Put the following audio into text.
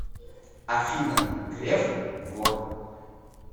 афина греф вор